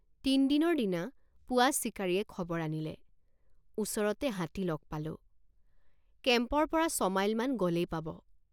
তিনদিনৰ দিনা পুৱা চিকাৰীয়ে খবৰ আনিলে ওচৰতে হাতী লগ পালোঁ কেম্পৰপৰা ছমাইলমান গ'লেই পাব।